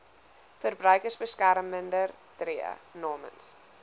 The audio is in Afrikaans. verbruikersbeskermer tree namens